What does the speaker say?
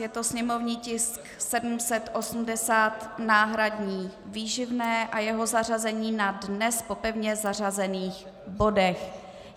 Je to sněmovní tisk 780, náhradní výživné, a jeho zařazení na dnes po pevně zařazených bodech.